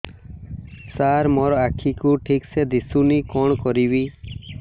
ସାର ମୋର ଆଖି କୁ ଠିକସେ ଦିଶୁନି କଣ କରିବି